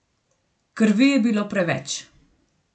Krvi je bilo preveč.